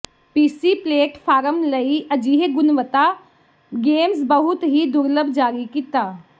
ਪੀਸੀ platform ਲਈ ਅਜਿਹੇ ਗੁਣਵੱਤਾ ਗੇਮਜ਼ ਬਹੁਤ ਹੀ ਦੁਰਲੱਭ ਜਾਰੀ ਕੀਤਾ